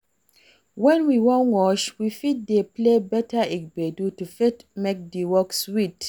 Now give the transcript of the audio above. When we wan wash, we fit dey play better gbedu to fit make di work sweet